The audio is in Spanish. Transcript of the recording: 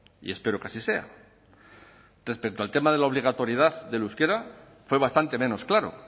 y espero que así sea respecto al tema de la obligatoriedad del euskera fue bastante menos claro